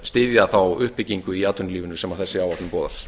styðja þá uppbyggingu í atvinnulífinu sem þessi áætlun boðar